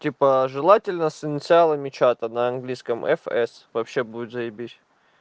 типа желательно с инициалами чата на английском фс вообще будет заибись